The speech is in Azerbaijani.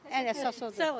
Ən əsası odur.